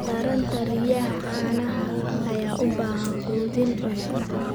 Taranta riyaha caanaha ayaa u baahan quudin wanaagsan.